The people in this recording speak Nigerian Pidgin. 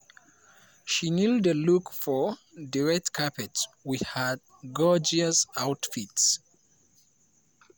she nail di look for di red carpet wit her gorgeous outfit.